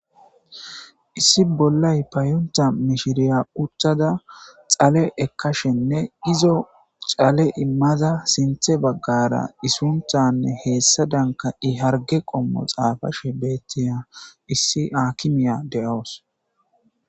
Issi bollay payonta mishshiriya uttada dhalle ekkashene izzo dhale immada sinththe baggera i sunthane hessadanka i hargge qommo xafashe bettiya issi akimiya de'awusu.